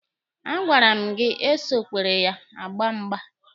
A gwara m gị esokwere ha agba mgba!